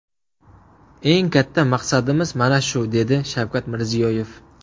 Eng katta maqsadimiz mana shu, dedi Shavkat Mirziyoyev.